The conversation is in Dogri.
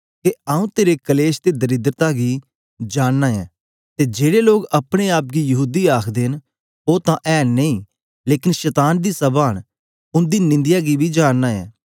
आऊँ तेरे कलेश ते दरिद्रता गी जानना ऐ ते जेड़े लोग अपने आप गी यहूदी आखदे न ओ तां ऐंन नेई लेकन शतान दी सभा न उंदी निंदया गी बी जानना ऐ